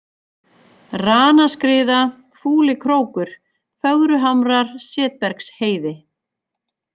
Ranaskriða, Fúlikrókur, Fögruhamrar, Setbergsheiði